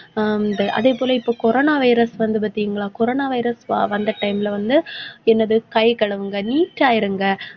ஆஹ் அதே போல, இப்போ coronavirus வந்து பார்த்தீங்களா? coronavirus வ~ வந்த time ல வந்து என்னது கை கழுவுங்க neat ஆ இருங்க.